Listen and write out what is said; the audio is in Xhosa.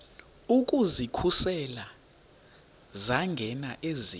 ukuzikhusela zangena eziya